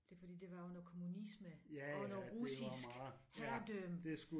Det fordi det var jo noget kommunisme under russisk herredømme